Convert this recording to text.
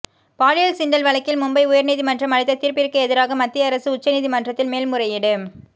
பாலியல் சீண்டல் வழக்கில் மும்பை உயர்நீதிமன்றம் அளித்த தீர்ப்பிற்குஎதிராக மத்திய அரசு உச்ச நீதிமன்றத்தில் மேல்முறையீடு